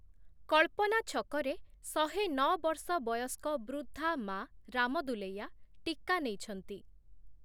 କଳ୍ପନା ଛକ ରେ ଶହେ ନଅ ବର୍ଷ ବୟସ୍କ ବୃଦ୍ଧା ମା ରାମଦୁଲୈୟା ଟିକା ନେଇଛନ୍ତି ।